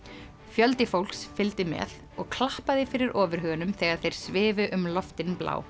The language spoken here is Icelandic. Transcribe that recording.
fjöldi fólks fylgdi með og klappaði fyrir ofurhugunum þegar þeir svifu um loftin blá